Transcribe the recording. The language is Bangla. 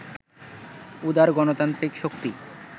উদার গণতান্ত্রিক শক্তি